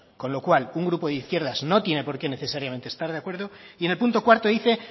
con lo cual un grupo de izquierdas no tiene por qué necesariamente estar de acuerdo y en el punto cuarto dice